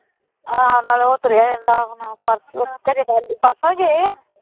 ਆਹੋ ਨਾਲੇ ਉਹ ਤੁਰਿਆ ਰਹਿੰਦਾ ਹੁਣ ਪਰਸੋਂ ਖਰੇ ਕੱਲ੍ਹ ਪਰਸੋਂ ਹੀ ਗਏ ਆ